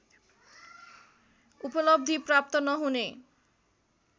उपलब्धि प्राप्त नहुने